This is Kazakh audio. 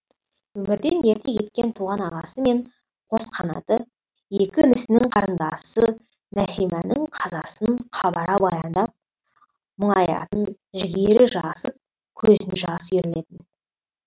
өмірден ерте кеткен туған ағасы мен қос қанаты екі інісінің қарындасы нәсиманың қазасын қабара баяндап мұңаятын жігері жасып көзіне жас үйірілетін